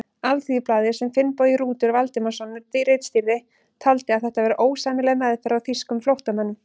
Alþýðublaðið, sem Finnbogi Rútur Valdimarsson ritstýrði, taldi að þetta væri ósæmileg meðferð á þýskum flóttamönnum.